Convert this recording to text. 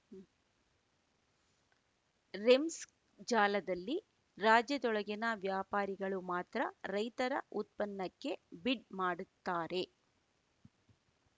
REMS ಜಾಲದಲ್ಲಿ ರಾಜ್ಯದೊಳಗಿನ ವ್ಯಾಪಾರಿಗಳು ಮಾತ್ರ ರೈತರ ಉತ್ಪನ್ನಕ್ಕೆ ಬಿಡ್‌ ಮಾಡುತ್ತಾರೆ